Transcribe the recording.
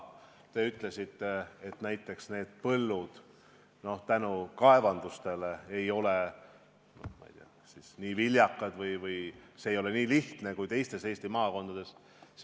Te ütlesite, et näiteks põllud ei ole kaevanduste tõttu seal nii viljakad või põllumajandusega ei ole nii lihtne tegelda kui teistes Eesti maakondades.